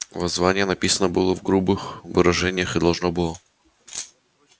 воззвание написано было в грубых выражениях и должно было